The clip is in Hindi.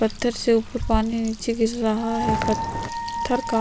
पत्थर से ऊपर पानी नीचे गिर रहा है पत्थर का --